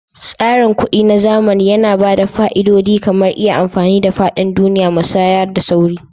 Tsarin kuɗi na zamani yana ba da fa'idodi kamar iya amfani a faɗin duniya, musaya da sauri.